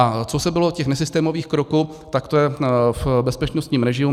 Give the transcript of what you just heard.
A co bylo u těch nesystémových kroků, tak to je v bezpečnostním režimu.